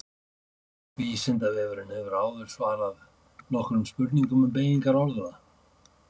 Vísindavefurinn hefur áður svarað nokkrum spurningum um beygingar orða.